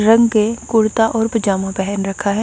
रंग के कुर्ता और पजामा पहन रखा है।